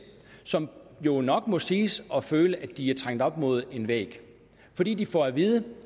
som jo nok må siges at føle at de er trængt op mod en væg fordi de får at vide